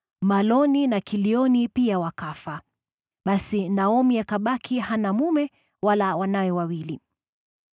Maloni na Kilioni pia wakafa. Basi Naomi akabaki hana mume wala wanawe wawili.